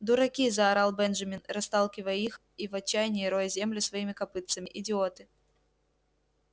дураки заорал бенджамин расталкивая их и в отчаянии роя землю своими копытцами идиоты